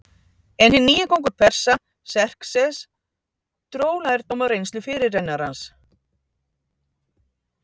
En hinn nýi kóngur Persa, Xerxes, dró lærdóm af reynslu fyrirrennarans.